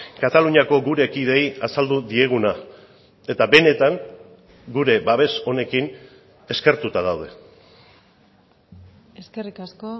kataluniako gure kideei azaldu dieguna eta benetan gure babes honekin eskertuta daude eskerrik asko